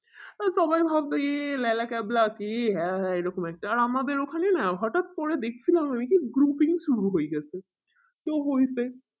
ওই সবাই ভাবে এ ল্যালা ক্যাবলা আছে ই হ্যাঁ হ্যাঁ এই রকম একটা আর আমাদের ওখানে না হটাৎ করে শুরু হয়ে গেছে সে হয়েছে